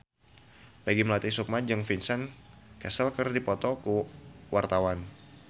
Peggy Melati Sukma jeung Vincent Cassel keur dipoto ku wartawan